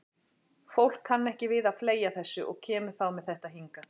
Fólk kann ekki við að fleygja þessu og kemur þá með þetta hingað.